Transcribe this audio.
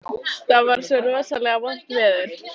Það var svo rosalega vont veður.